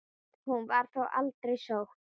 Hún var þó aldrei sótt.